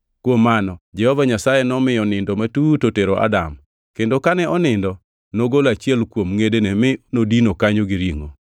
Kuom mano Jehova Nyasaye nomiyo nindo matut otero Adam; kendo kane onindo, nogolo achiel kuom ngʼedene mi nodino kanyo gi ringʼo.